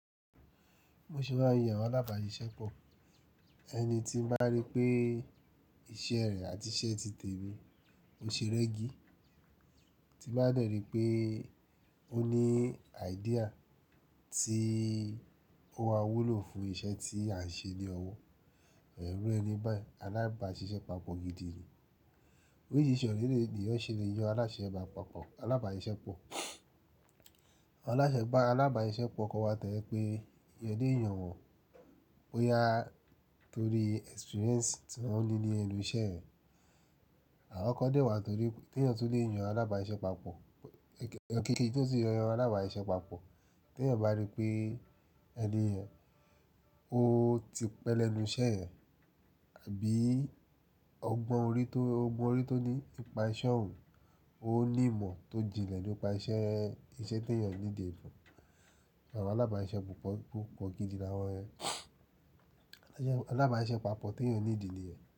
Mo ṣe bá yàn alábà sìṣe pọ̀. Ẹni tí ń bá rí pé iṣẹ́ rẹ̀ àti iṣẹ́ ti tẹ̀ mí, ó ṣe rẹggi. Ti bá dẹ̀ rí pé ó ní idea tí ó ń àwúlò fún iṣẹ́ tí à ń ṣe ní ọwọ́. Ẹ̀rọ ẹni báyìí alábàáṣiṣẹ́ pàpọ̀ gidi ni. Oríṣìíríṣìí ọ̀rẹ́ ènìyàn ṣe lè yọ aláṣẹ gbà pàpọ̀, alábà ìṣe pọ̀. Aláṣẹ gbà alábà siṣe pọ̀ kọ́ wa tẹ́lẹ̀ pé yẹn dé èèyàn wò ó yá torí experience tí wọ́n ní ní ẹnu iṣẹ́ ẹ̀. Àwọn kan dé wà torí pé tí ẹniyàn tó lè yàn alábà sìṣe pàpọ̀, òkèkè tí ó sì yọ alágbà ìṣe pàpọ̀, tí ẹniyàn bá rí pé ẹni yẹn, ó ti pẹ́ lẹ́nu iṣẹ́ ẹ̀ àbí ọgbọ́n orí tó, ọgbọ́n orí tó ní ipa iṣẹ́ òun, ó ní ìmọ̀ tó jinlẹ̀ nípa iṣẹ́, iṣẹ́ tí ẹniyàn ní dì fún. Àwọn alábà sìṣe púpọ̀ púpọ̀ gidi ní àwọn ẹ. Alábà sìṣe pàpọ̀ tí ẹniyàn ní dì ni ẹ̀.